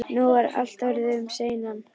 Nú var allt orðið um seinan.